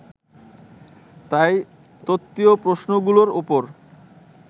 তাই তত্ত্বীয় প্রশ্নগুলোর ওপর